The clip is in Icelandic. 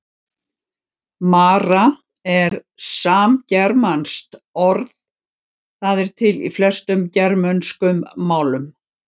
Mara er samgermanskt orð, það er til í flestum germönskum málum.